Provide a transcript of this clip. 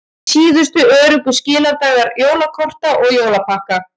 Síðustu öruggu skiladagar jólakorta og jólapakka